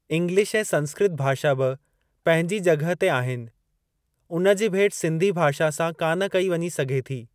English ऐं संस्कृत भाषा बि पंहिंजे जॻहि ते आहिनि, उन जी भेट सिन्धी भाषा सां कान कई वञी सघे थी।